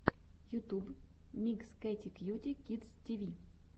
ютуб микс кэти кьюти кидс ти ви